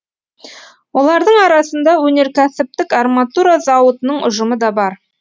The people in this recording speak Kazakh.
олардың арасында өнеркәсіптік арматура зауытының ұжымы да бар